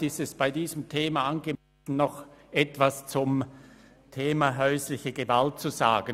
Vielleicht ist es bei diesem Thema angebracht, noch etwas zum Thema häusliche Gewalt zu sagen.